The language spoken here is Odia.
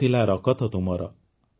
ତାତିଲା ରକତ ତୁମର